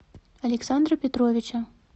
александра петровича